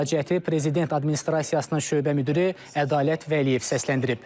Müraciəti prezident administrasiyasının şöbə müdiri Ədalət Vəliyev səsləndirib.